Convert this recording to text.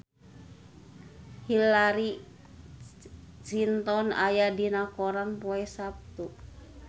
Hillary Clinton aya dina koran poe Saptu